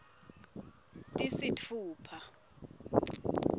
tisitfupha